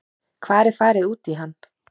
Hvar er farið út í hann?